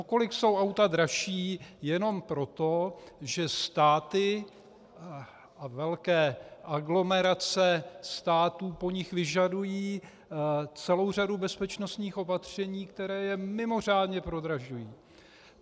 O kolik jsou auta dražší jenom proto, že státy a velké aglomerace států po nich vyžadují celou řadu bezpečnostních opatření, která je mimořádně prodražují.